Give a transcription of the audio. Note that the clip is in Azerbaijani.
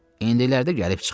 İndilərdə gəlib çıxar.